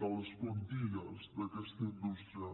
de les plantilles d’aquesta indústria